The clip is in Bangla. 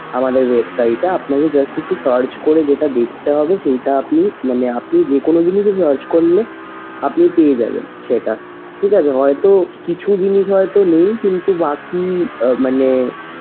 আমাদের website এ আপনাকে just একটু search করে যেটা দেখতে হবে সেইটা আপনি মানে আপনি যেকোনো জিনিসে search করলে আপনি পেয়ে যাবেন সেটা ঠিক আছে। হয়তো কিছু জিনিস হয়তো নেই কিন্তু বাকি মানে,